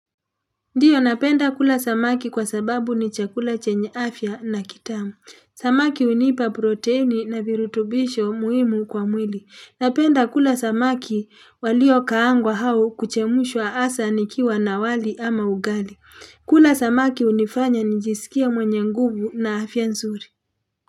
Ndio napenda kula samaki kwa sababu ni chakula chenye afya na kitamu. Samaki hunipa proteini na virutubisho muhimu kwa mwili. Napenda kula samaki waliokaangwa au kuchemushwa hasa nikiwa na wali ama ugali. Kula samaki hunifanya njisikie mwenye nguvu na afya nzuri.